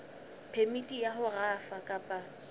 phemiti ya ho rafa kapa